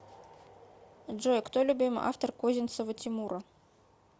джой кто любимый автор козинцева тимура